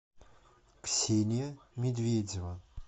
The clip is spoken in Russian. ксения медведева